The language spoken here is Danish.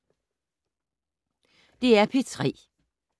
DR P3